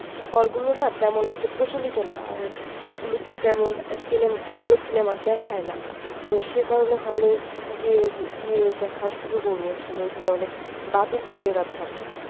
hall গুলো না তেমন একটা প্রচলিত না আর hall গুলো না তেমন ভালো cinema দেখায় না তো সে কারণে hall এ গিয়ে গিয়ে দেখার সুযোগ ও নেই আসলে ওখানে অনেক বাজে ছেলেরা থাকে